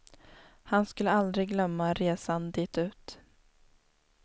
Han skulle aldrig glömma resan ditut.